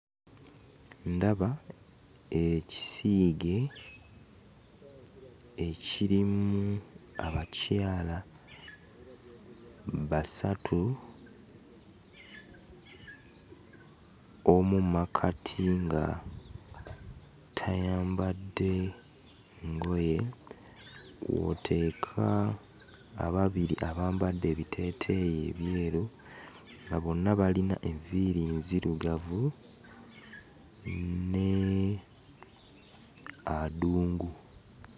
Ndaba ekisiige ekirimu abakyala basatu: omu mu makkati nga tayambadde ngoye, kw'oteeka ababiri abambadde ebiteeteeyi ebyeru nga bonna bayina enviiri nzirugavu ne Adungu.